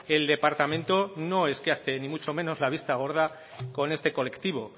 el departamento no es que hace ni muchos menos la vista gorda con este colectivo